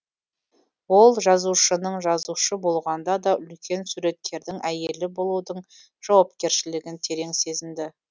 ол жазушының жазушы болғанда да үлкен суреткердің әйелі болудың жауапкершілігін терең сезінді